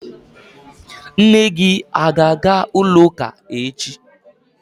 Nne gị a ga-aga ụlọakụ echi?